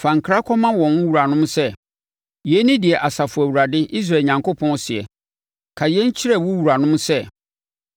Fa nkra kɔma wɔn wuranom sɛ: Yei ne deɛ Asafo Awurade, Israel Onyankopɔn seɛ, ‘Ka yei kyerɛ wo wuranom sɛ: